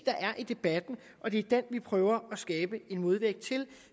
der er i debatten og det er den vi prøver at skabe en modvægt til